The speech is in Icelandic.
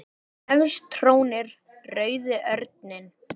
Efst trónir rauði örninn.